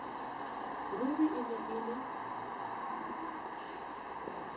ruri e ne e le